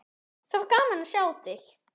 Það var gaman að sjá þig.